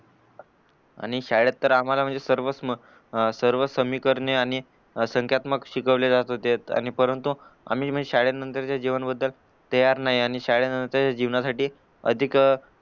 आणि शाळेत तर आम्हाला म्हणजे सर्वच अह समीकरणे आणि संख्यात्मक शिकवले जात होते आणि परंतु आम्ही शाळेनंतरचे जीवन बद्दल तयार नाही आणि शाळेनंतरच्या जीवनासाठी अधिक